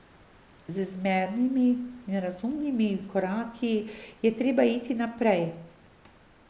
Z zmernimi in razumnimi koraki je treba iti naprej.